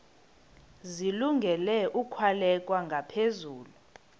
zilungele ukwalekwa ngaphezulu